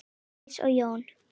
Vigdís og Jón.